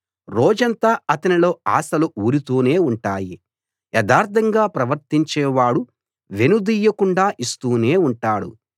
రోజంతా అతనిలో ఆశలు ఊరుతూనే ఉంటాయి యథార్థంగా ప్రవర్తించేవాడు వెనుదీయకుండా ఇస్తూనే ఉంటాడు